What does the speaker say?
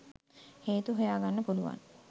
හේතු හොයාගන්න පුළුවන්.